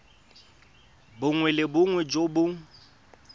bongwe le bongwe jo bo